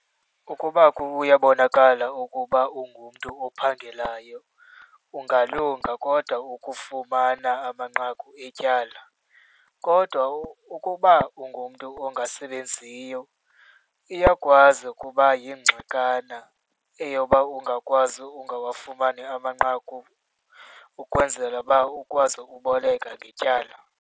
Ukuba kuyabonakala ukuba ungumntu ophangelayo ungalunga kodwa ukufumana amanqaku etyala. Kodwa ukuba ungumntu ongasebenziyo, iyakwazi ukuba yingxakana eyoba ungakwazi ungawafumani amanqaku, ukwenzela uba ukwazi ukuboleka ngetyala.